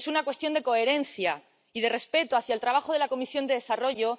Es una cuestión de coherencia y de respeto hacia el trabajo de la Comisión de Desarrollo.